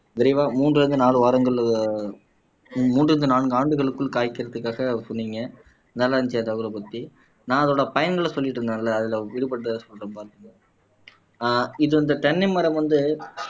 விரைவா மூன்றிலிருந்து நாலு வாரங்கள் மூன்றிலிருந்து நான்கு ஆண்டுகளுக்குள் காய்க்கறதுக்காக சொன்னீங்க நல்லா இருந்துச்சு பத்தி நான் அதோட பயன்களை சொல்லிட்டு இருந்தேன்ல அதுல விடுபட்டதை சொல்றேன் ஆஹ் இது இந்த தென்னை மரம் வந்து